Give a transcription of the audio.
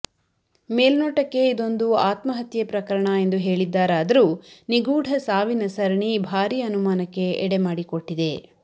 ಮೇಲ್ನೋಟಕ್ಕೆ ಇದೊಂದು ಆತ್ಮಹತ್ಯೆ ಪ್ರಕರಣ ಎಂದು ಹೇಳಿದ್ದಾರಾದರೂ ನಿಗೂಢ ಸಾವಿ ಸರಣಿ ಭಾರೀ ಅನುಮಾನಕ್ಕೆ ಎಡೆಮಾಡಿಕೊಟ್ಟಿದೆ